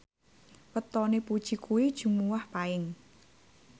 wetone Puji kuwi Jumuwah Paing